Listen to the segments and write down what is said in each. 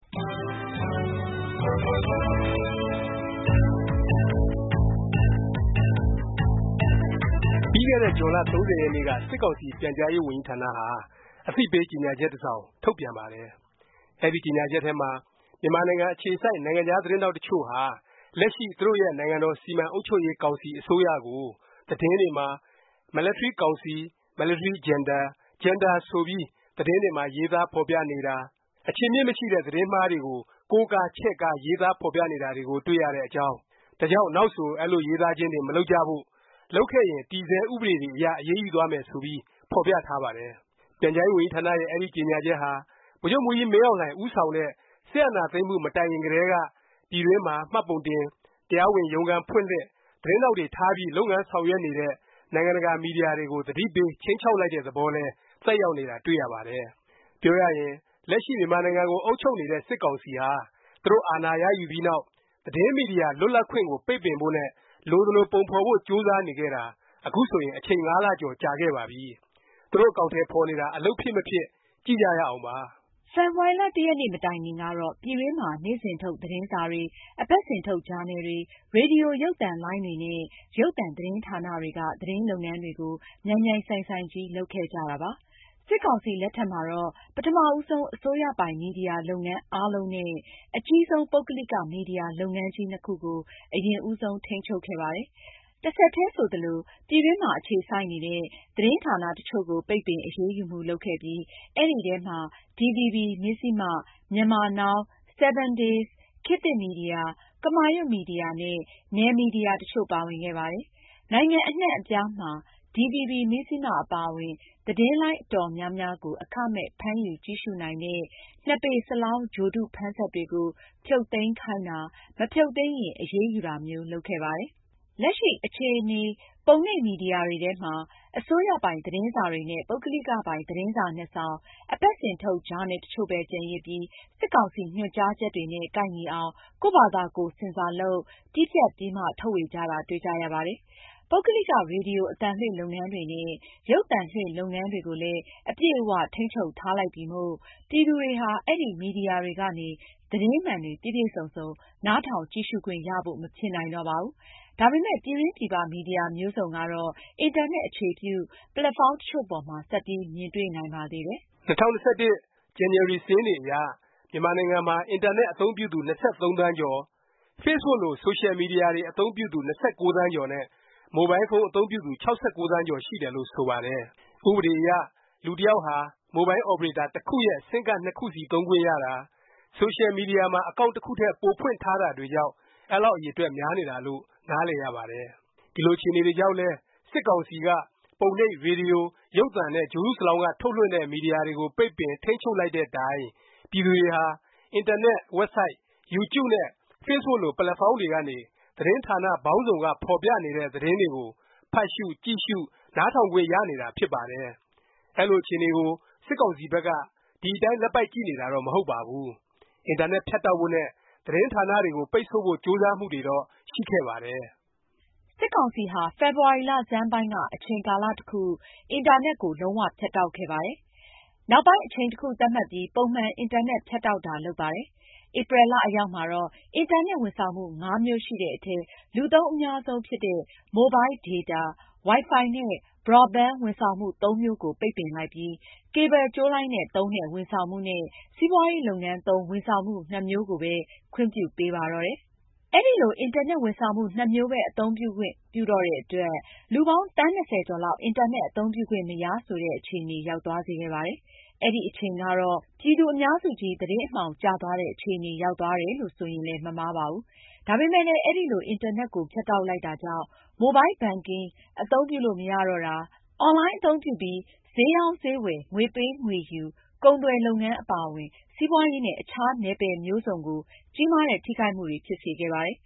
ပြီးခဲ့တဲ့ ဇွန်လ ၃၀ ရက်နေ့က စစ်ကောင်စီ ပြန်ကြားရေးဝန်ကြီးဌာနဟာ အသိပေးကြေညာချက် တစ်စောင် ထုတ်ပြန်ပါတယ်။ အဲဒီ ကြေညာချက်ထဲမှာ မြန်မာနိုင်ငံ အခြေစိုက် နိုင်ငံခြား သတင်းထောက် တစ်ချို့ဟာ လက်ရှိ သူတို့ရဲ့ နိုင်ငံတော် စီမံအုပ်ချုပ်ရေး ကောင်စီ အစိုးရကို သတင်းတွေမှာ military council, military junta, junta ဆိုပြီး သတင်းတွေမှာ ရေးသားဖော်ပြနေတာ၊ အခြေအမြစ် မရှိတဲ့ သတင်းမှားတွေကို ကိုးကား ချဲ့ကား ရေးသား ဖော်ပြနေတာကို တွေ့ရတဲ့အကြောင်း၊ ဒါကြောင့် နောက်ဆို အဲလို ရေးသားခြင်းတွေ မလုပ်ကြဖို့၊ လုပ်ခဲ့ရင် တည်ဆဲ ဥပဒေတွေအရ အရေးယူသွားမယ် ဆိုပြီး ဖော်ပြထားပါတယ်။ ပြန်ကြားရေး ဝန်ကြီးဌာနရဲ့ အဲဒီ ကြေညာချက်ဟာ ဗိုလ်ချုပ်မှူးကြီး မင်းအောင်လှိုင် ဦးဆောင်တဲ့ စစ်အာဏာသိမ်းမှု မတိုင်ခင်ကတည်းက ပြည်တွင်းမှာ မှတ်ပုံတင်၊ တရားဝင် ရုံးခန်းဖွင့်လှစ်၊ သတင်းထောက်တွေ ထားပြီး လုပ်ငန်း ဆောင်ရွက်နေတဲ့ နိုင်ငံတကာ မီဒီယာတွေကို သတိပေး ခြိမ်းခြောက်လိုက်တဲ့ သဘောလည်း သက်ရောက်နေတာ တွေ့ရပါတယ်။ ပြောရရင် လက်ရှိ မြန်မာနိုင်ငံကို အုပ်ချုပ်နေတဲ့ စစ်ကောင်စီဟာ သူတို့ အာဏာရယူပြီးနောက် သတင်းမီဒီယာ လွတ်လပ်ခွင့်ကို ပိတ်ပင်ဖို့နဲ့ လိုသလို ပုံဖော်ဖို့ ကြိုးစားနေခဲ့တာ အခုဆိုရင် အချိန် ၅ လကျော် ကြာခဲ့ပါပြီ၊ သူတို့ အကောင်အထည် ဖော်နေတာ အလုပ်ဖြစ် မဖြစ် ကြည့်ကြရအောင်ပါ။ ဖေဖေါ်ဝါရီ ၁ ရက်နေ့ မတိုင်ခင်ကတော့ ပြည်တွင်းမှာ နေ့စဉ်ထုတ် သတင်းစာတွေ၊ အပတ်စဉ်ထုတ် ဂျာနယ်တွေ၊ ရေဒီယို ရုပ်သံလိုင်းတွေနဲ့ ရုပ်သံ သတင်းဌာနတွေက သတင်းလုပ်ငန်းတွေကို မြိုင်မြိုင်ဆိုင်ဆိုင်ကြီး လုပ်ခဲ့ကြတာပါ။ စစ်ကောင်စီ လက်ထက်မှာတော့ ပထမ ဦးဆုံး အစိုးရပိုင် မီဒီယာ လုပ်ငန်းအားလုံးနဲ့ အကြီးဆုံး ပုဂ္ဂလိက မီဒီယာ လုပ်ငန်းကြီး ၂ခုကို အရင်ဦးဆုံး ထိန်းချုပ်ခဲ့ပါတယ်။ တဆက်တည်း ဆိုသလို ပြည်တွင်းမှာ အခြေစိုက်နေတဲ့ သတင်းဌာနတစ်ချို့ကို ပိတ်ပင် အရေးယူမှု လုပ်ခဲ့ပြီး အဲဒီထဲမှာ DVB, Mizzima, Myanmar Now, 7 Days, ခေတ်သစ် မီဒီယာ၊ ကမာရွတ် မီဒီယာနဲ့ နယ်မီဒီယာ တချို့ ပါဝင်ခဲ့ပါတယ်။ နိုင်ငံ အနှံ့အပြားမှာ DVB, Mizzima အပါအဝင် သတင်းလိုင်း အတော်များများကို အခမဲ့ ဖမ်းယူကြည့်ရှုနိုင်တဲ့ ၂ ပေစလောင်း ဂြိုလ်တုဖမ်းစက်တွေကို ဖြုတ်သိမ်းခိုင်းတာ၊ မဖြုတ်သိမ်းရင် အရေးယူတာမျိုး လုပ်ခဲ့ပါတယ်။ လက်ရှိ အခြေအနေ ပုံနှိပ်မီဒီယာတွေထဲမှာ အစိုးရပိုင် သတင်းစာတွေနဲ့ ပုဂ္ဂလိကပိုင် သတင်းစာ ၂ စောင်၊ အပတ်စဉ်ထုတ် ဂျာနယ် တစ်ချို့ပဲ ကျန်ရစ်ပြီး စစ်ကောင်စီ ညွှန်ကြားချက်တွေနဲ့ ကိုက်ညီအောင် ကိုယ့်ဖာသာကိုယ် ဆင်ဆာလုပ်၊ တည်းဖြတ်ပြီးမှ ထုတ်ဝေကြတာ တွေ့ကြရပါတယ်။ ပုဂ္ဂလိက ရေဒီယို အသံလွှင့် လုပ်ငန်းတွေနဲ့ ရုပ်သံလွှင့် လုပ်ငန်းတွေကိုလည်း အပြည့်အ၀ ထိန်းချုပ်ထားလိုက်ပြီမို့ ပြည်သူတွေဟာ အဲဒီ မီဒီယာတွေကနေ သတင်းမှန်တွေ ပြည့်ပြည့်စုံစုံ နားထောင်၊ ကြည့်ရှုခွင့်ရဖို့ မဖြစ်နိုင်တော့ပါဘူး။ ဒါပေမယ့် ပြည်တွင်းပြည်ပ မီဒီယာ မျိုးစုံကတော့ အင်တာနက် အခြေပြု ပက်လက်ဖေါင်း တစ်ချို့ပေါ်မှာ ဆက်ပြီး မြင်တွေ့နိုင်ပါသေးတယ်။ ၂၀၂၁ ဇန်နဝါရီ စာရင်းတွေအရ မြန်မာနိုင်ငံမှာ အင်တာနက် အသုံးပြုသူ ၂၃ သန်းကျော်၊ Facebook လို ဆိုရှယ်မီဒီယာတွေ အသုံးပြုသူ ၂၉ သန်းကျော်နဲ့ မိုဘိုင်းဖုန်း အသုံးပြုသူ ၆၉ သန်းကျော် ရှိတယ်လို့ ဆိုပါတယ်။ ဥပဒေအရ လူတစ်ယောက်ဟာ မိုဘိုင်းအော်ပရေတာ တစ်ခုရဲ့ ဆင်းကဒ် ၂ ခုစီ သုံးခွင့်ရတာ၊ ဆိုရှယ် မီဒီယာမှာ အကောင်န့် တစ်ခုထက် ပိုဖွင့်ထားတာတွေကြောင့် အဲလောက် အရေအတွက် များနေတာလို့ နားလည်ရပါတယ်။ ဒီလို အခြေအနေကြောင့်လည်း စစ်ကောင်စီက ပုံနှိပ်၊ ရေဒီယို၊ ရုပ်သံနဲ့ ဂြိုလ်တုစလောင်းက ထုတ်လွှင့်တဲ့ မီဒီယာတွေကို ပိတ်ပင်၊ ထိန်းချုပ် လိုက်တဲ့တိုင် ပြည်သူတွေဟာ အင်တာနက် ဝက်ဘ်ဆိုက်၊ ယူကျုနဲ့ facebook လို ပက်လက်ဖေါင်းတွေကနေ သတင်းဌာန ပေါင်းစုံက ဖော်ပြနေတဲ့ သတင်းတွေကို ဖတ်ရှု၊ ကြည့်ရှု၊ နားထောင်ခွင့် ရနေတာ ဖြစ်ပါတယ်။ အဲလို အခြေအနေကို စစ်ကောင်စီဘက်က ဒီအတိုင်း လက်ပိုက်ကြည့်နေတာတော့ မဟုတ်ပါဘူး။ အင်တာနက် ဖြတ်တောက်ဖို့နဲ့ သတင်းဌာနတွေကို ပိတ်ဆို့ဖို့ ကြိုးစားမှုတွေတော့ ရှိခဲ့ပါတယ်။ စစ်ကောင်စီဟာ ဖေဖေါ်ဝါရီ လဆန်းပိုင်းက အချိန်ကာလ တစ်ခု အင်တာနက်ကို လုံး၀ ဖြတ်တောက်ခဲ့ပါတယ်။ နောက်ပိုင်း အချိန်တစ်ခု သတ်မှတ်ပြီး ပုံမှန် အင်တာနက် ဖြတ်တောက်တာ လုပ်ပါတယ်။ ဧပြီလ အရောက်မှာတော့ အင်တာနက် ဝန်ဆောင်မှု ၅ မျိုးရှိတဲ့အထဲ လူသုံး အများဆုံး ဖြစ်တဲ့ မိုဘိုင်းဒေတာ၊ ဝိုင်ဖိုင်နဲ့ ဘရော့ဘင်း ဝန်ဆောင်မှု ၃ မျိုးကို ပိတ်ပင်လိုက်ပြီး ကေဘယ်ကြိုးလိုင်းနဲ့ သုံးတဲ့ ဝန်ဆောင်မှု နဲ့ စီးပွားရေး လုပ်ငန်းသုံး ဝန်ဆောင်မှု ၂ မျိုးကိုပဲ ခွင့်ပြုပေးပါတော့တယ်။ အဲလို အင်တာနက် ဝန်ဆောင်မှု ၂ မျိုးပဲ အသုံးပြုခွင့်ပြုတော့တဲ့ အတွက် လူပေါင်း သန်း ၂၀ ကျော်လောက် အင်တာနက် အသုံးပြုခွင့်မရ ဆိုတဲ့ အခြေအနေ ရောက်သွားစေခဲ့ပါတယ်။ အဲဒီအချိန်ကတော့ ပြည်သူအများစုကြီး သတင်းအမှောင် ကျသွားတဲ့ အခြေအနေ ရောက်သွားတယ်လို့ ဆိုရင်လည်း မမှားပါဘူး။ ဒါပေမယ့်လည်း အဲလို အင်တာနက်ကို ဖြတ်တောက်လိုက်တာကြောင့် Mobile banking အသုံးပြုလို့ မရတော့တာ၊ အွန်လိုင်း အသုံးပြုပြီး ဈေးရောင်း၊ ဈေးဝယ်၊ ငွေပေး ငွေယူ၊ ကုန်သွယ်လုပ်ငန်း အပါအဝင် စီးပွားရေးနဲ့ အခြား နယ်ပယ်မျိုးစုံကို ကြီးမားတဲ့ ထိခိုက်မှုတွေကို ဖြစ်စေခဲ့ပါတယ်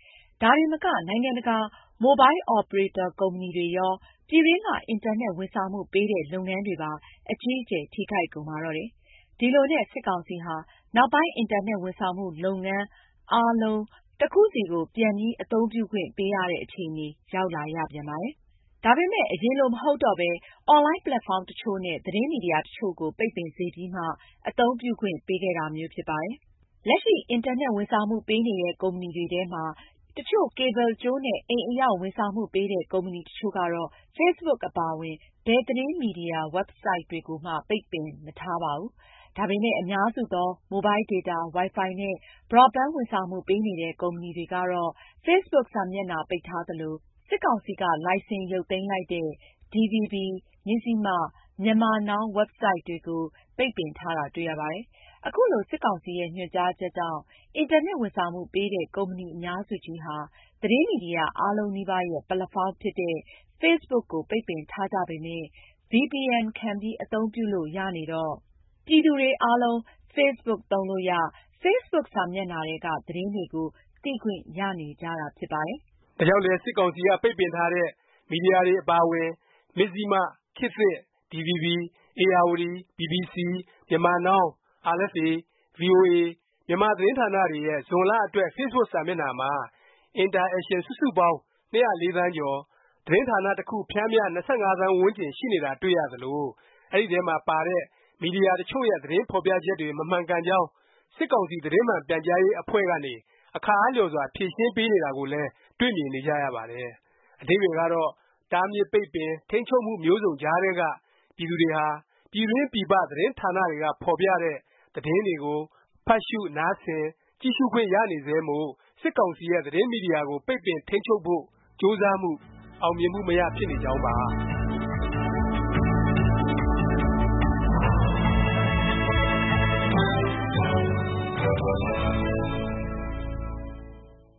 ။ ဒါတင်မက နိုင်ငံတကာ မိုဘိုင်းအော်ပရေတာ ကုမ္ပဏီတွေရော၊ ပြည်တွင်းက အင်တာနက် ဝန်ဆောင်မှုပေးတဲ့ လုပ်ငန်းတွေပါ အကြီးအကျယ် ထိခိုက်ကုန်ပါတော့တယ်။ ဒီလိုနဲ့ စစ်ကောင်စီဟာ နောက်ပိုင်း အင်တာနက် ဝန်ဆောင်မှု လုပ်ငန်းအားလုံး တစ်ခုစီ ပြန်ခွင့်ပြုပေးရတဲ့ အခြေအနေ ရောက်လာရပြန်ပါတယ်။ ဒါပေမယ့် အရင်လို မဟုတ်တော့ပဲ အွန်လိုင်း ပက်လက်ဖေါင်းတစ်ချို့နဲ့ သတင်းမီဒီယာ တစ်ချို့ကို ပိတ်ပင်စေပြီးမှ အသုံးပြုခွင့်ပေးခဲ့တာမျိုးဖြစ်ပါတယ်။ လက်ရှိ အင်တာနက် ဝန်ဆောင်မှု ပေးနေတဲ့ ကုမ္ပဏီတွေထဲမှာ တစ်ချို့ ကေဘယ်လ်ကြိုးနဲ့ အိမ်အရောက် ဝန်ဆောင်မှုပေးတဲ့ ကုမ္ပဏီတစ်ချို့ကတော့ facebook အပါအဝင် ဘယ်သတင်းမီဒီယာ ဝက်ဘ်ဆိုက်တွေကိုမှ ပိတ်ပင်မထားပါဘူး။ ဒါပေမယ့် အများစုသော မိုဘိုင်းဒေတာ၊ ဝိုင်ဖိုင် နဲ့ ဘရော့ဘင်း ဝန်ဆောင်မှု ပေးနေတဲ့ ကုမ္ပဏီတွေကတော့ facebook စာမျက်နှာ ပိတ်ထားသလို၊ စစ်ကောင်စီက လိုင်စင်ရုပ်သိမ်းလိုက်တဲ့ DVB, Mizzima, Myanmar Now ဝက်ဘ်ဆိုက် တွေကို ပိတ်ပင်ထားတာ တွေ့ရပါတယ်။ ခုလို စစ်ကောင်စီရဲ့ ညွှန်ကြားချက်ကြောင့် အင်တာနက် ဝန်ဆောင်မှုပေးတဲ့ ကုမ္ပဏီ အများစုကြီးဟာ သတင်းမီဒီယာ အားလုံးနီးပါးရဲ့ ပက်လက်ဖေါင်းဖြစ်တဲ့ Facebook ကို ပိတ်ပင်ထားကြပေမယ့် VPN ခံပြီး အသုံးပြုလို့ ရနေတော့ ပြည်သူတွေအားလုံး Facebook သုံးလို့ရ၊ facebook စာမျက်နှာထဲက သတင်းတွေကို သိခွင့်ရနေကြတာ ဖြစ်ပါတယ်။ ဒါကြောင့်လဲ စစ်ကောင်စီက ပိတ်ပင်ထားတဲ့ မီဒီယာတွေ အပါအဝင် မဇ္ဇျိမ၊ ခေတ်သစ်၊ DVB၊ ဧရာဝတီ၊ ဘီဘီစီ၊ မြန်မာနောင်း၊ အာရ်အက်ဖ်အေ၊ ဗွီအိုအေ မြန်မာ သတင်းဌာနတွေရဲ့ ဇွန်လအတွက် facebook စာမျက်နှာမှာ Interations စုစုပေါင်း ၂၀၄ သန်းကျော်၊ သတင်းဌာန တစ်ခု ပျမ်းမျှ ၂၅ သန်းဝန်းကျင် ရှိနေတာ တွေ့ရသလို၊ အဲဒီထဲမှာ ပါတဲ့ မီဒီယာတစ်ချို့ရဲ့ သတင်းဖော်ပြချက်တွေ မမှန်ကန်ကြောင်း စစ်ကောင်စီ သတင်းမှန် ထုတ်ပြန်ရေး အဖွဲ့ကနေ အခါအားလျော်စွာ ဖြေရှင်းနေတာကိုလည်း တွေ့မြင်နေကြရပါတယ်။ အဓိပ္ပါယ်ကတော့ တားမြစ်ပိတ်ပင်၊ ထိန်းချုပ်မှု မျိုးစုံ ကြားထဲက ပြည်သူတွေဟာ ပြည်တွင်း၊ ပြည်ပ သတင်းဌာနတွေက ဖော်ပြတဲ့ သတင်းတွေကို ဖတ်ရှု၊ နားဆင်၊ ကြည့်ရှုခွင့် ရနေဆဲမို့ စစ်ကောင်စီရဲ့ သတင်းမီဒီယာကို ပိတ်ပင်၊ ထိန်းချုပ်ဖို့ ကြိုးစားမှု အောင်မြင်မှု မရ ဖြစ်နေကြောင်းပါ။